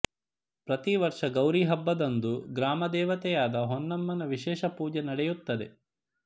ಪ್ರತಿ ವರ್ಷ ಗೌರಿ ಹಬ್ಬದಂದು ಗ್ರಾಮದೇವತೆಯಾದ ಹೊನ್ನಮನ ವಿಶೇಷ ಪೂಜೆ ನಡೆಯುತ್ತದೆ